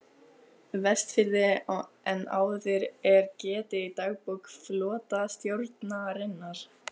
Vestfirði en áður er getið í dagbók flotastjórnarinnar